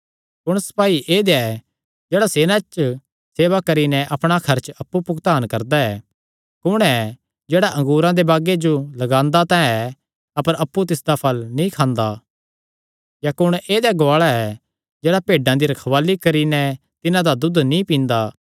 कुण सपाई ऐदेया ऐ जेह्ड़ा सेना च सेवा करी नैं अपणा खर्च अप्पु भुगतान करदा ऐ कुण ऐ जेह्ड़ा अंगूरा दे बागे जो लगांदा तां ऐ अपर अप्पु तिसदा फल़ नीं खांदा या कुण ऐदेया गुआल़ा ऐ जेह्ड़ा भेड्डां दी रखवाल़ी करी नैं तिन्हां दा दूद नीं पींदा